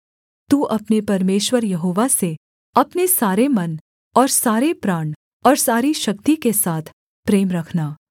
तू अपने परमेश्वर यहोवा से अपने सारे मन और सारे प्राण और सारी शक्ति के साथ प्रेम रखना